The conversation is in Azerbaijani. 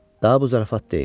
Daha bu zarafat deyil.